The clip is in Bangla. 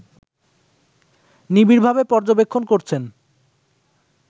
নিবিড়ভাবে পর্যবেক্ষণ করছেন